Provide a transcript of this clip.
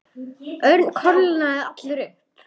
Örn kólnaði allur upp.